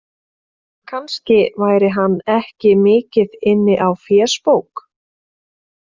Kannski væri hann ekki mikið inni á fésbók.